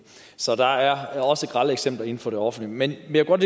så der er også grelle eksempler inden for det offentlige men jeg kunne